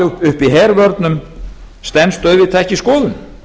og halda uppi hervörnum stenst auðvitað ekki skoðun